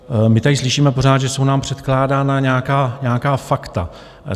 My tady slyšíme pořád, že jsou nám předkládána nějaká fakta.